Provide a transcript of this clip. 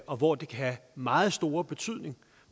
og hvor det kan have meget stor betydning